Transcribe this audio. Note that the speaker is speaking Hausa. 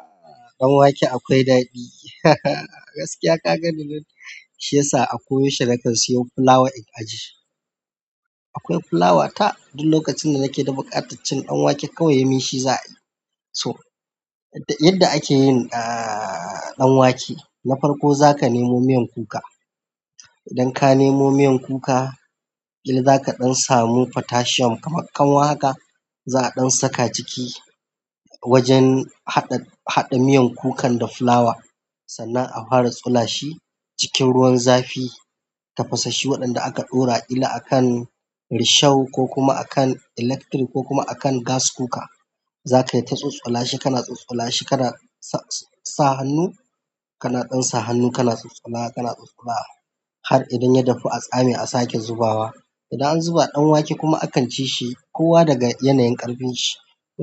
Ah ɗan wake akwai daɗi. Gaskiya ka ga ni lokacin da shiyasa ako yaushe nike siyo fulawa in ajiye. Akwai fulawa ta duk lokacin da nake da buƙataccen ɗan wake kawai yi min shi za a yi. So yadda ake yin ah ɗan wake, na farko za ka nemo miyan kuka. Idan ka nemo miyan kuka, idan zaka ɗan samu potassium kamar kanwa haka, za a ɗan saka ciki wajen haɗa haɗa miyan kukan da fulawa sannan a fara tsola shi cikin ruwan zafi. Tafasashshi waɗanda aka ɗora ƙila a kan risho ko kuma a kan electric ko kuma a kan gas cooker. Zaka yi ta tsotsola shi kana tsotsola shi kana sa hannu kana ɗan sa hannu kana tsotsola kana tsotsola har idan ya dahu a tsami a sake zubawa. Idan an zuba ɗan wake kuma akan ci shi kowa daga yanayin ƙarfin shi.